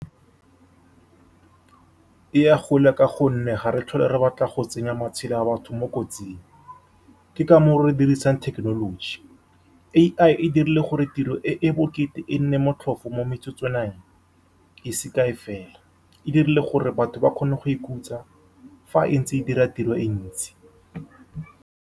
E ya kgole, ka gonne ga re tlhole re batla go tsenya matshelo a batho mo kotsing. Ke ka moo re dirisang thekenoloji. A_I e dirile gore tiro e e bokete e nne motlhofu mo metsotswaneng e se kae fela, e dirile gore batho ba kgone go ikhutsa fa e ntse e dira tiro e ntsi.